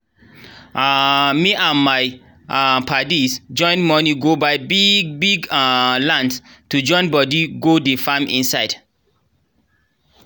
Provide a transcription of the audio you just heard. um me and my um padis join money go buy biggggg biggggg um land to join bodi go dey farm inside